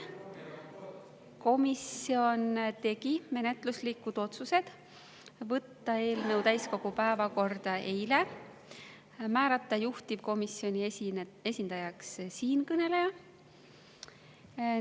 Komisjon tegi menetluslikud otsused võtta eelnõu täiskogu päevakorda eile ja määrata juhtivkomisjoni esindajaks siinkõneleja.